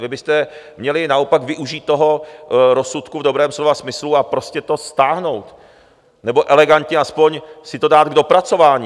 Vy byste měli naopak využít toho rozsudku v dobrém slova smyslu a prostě to stáhnout, nebo elegantně aspoň si to dát k dopracování.